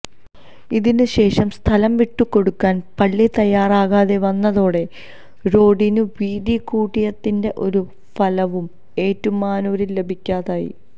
ഇതിനു ശേഷം സ്ഥലം വിട്ടു കൊടുക്കാന് പള്ളി തയ്യാറാകാതെ വന്നതോടെ റോഡിന് വീതി കൂട്ടിയതിന്റെ ഒരു ഫലവും ഏറ്റുമാനൂരില് ലഭിക്കാതായി